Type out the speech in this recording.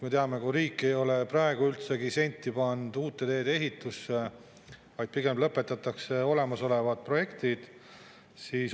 Me teame, kui riik ei ole praegu sentigi pannud uute teede ehitusse, pigem lõpetatakse olemasolevad projektid.